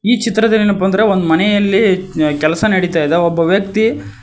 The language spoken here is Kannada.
ಈ ಚಿತ್ರದಲ್ಲಿ ಏನಪ್ಪಾ ಅಂದ್ರೆ ಒಂದು ಮನೆಯಲ್ಲಿ ಕೆಲಸ ನಡಿತಾ ಇದೆ ಒಬ್ಬ ವ್ಯಕ್ತಿ--